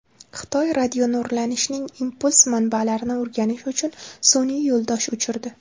Xitoy radionurlanishning impuls manbalarini o‘rganish uchun sun’iy yo‘ldosh uchirdi.